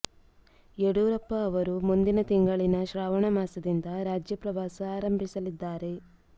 ಯಡಿಯೂರಪ್ಪ ಅವರು ಮುಂದಿನ ತಿಂಗಳಲ್ಲಿನ ಶ್ರಾವಣ ಮಾಸದಿಂದ ರಾಜ್ಯ ಪ್ರವಾಸ ಆರಂಭಿಸಲಿದ್ದಾರೆ